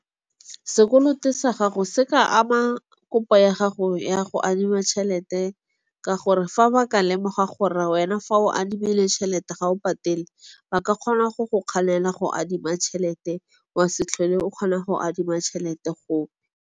Sekoloto sa gago se ka ama kopo ya gago ya go adima tšhelete ka gore, fa ba ka lemoga gore wena fa o adimile tšhelete ga o patele ba ka kgona go go kganela go adima tšhelete wa se tlhole o kgona go adima tšhelete go.